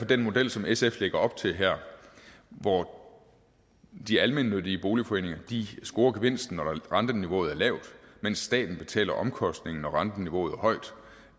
den model som sf lægger op til her hvor de almennyttige boligforeninger scorer gevinsten når renteniveauet er lavt mens staten betaler omkostningerne når renteniveauet